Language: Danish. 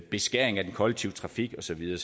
beskæring af den kollektive trafik og så videre